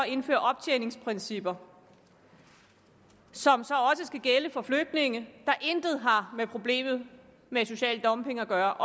indføre optjeningsprincipper som så også skal gælde for flygtninge der intet har med problemet med social dumping at gøre